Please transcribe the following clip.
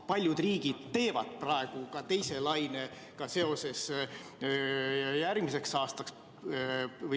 Paljud riigid teevad praegu ka teise lainega seoses plaane järgmiseks aastaks.